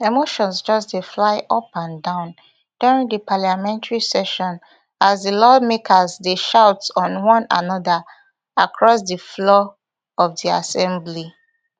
emotions just dey fly up and down during di parliamentary session as di lawmakers dey shout on one anoda across di floor od di assembly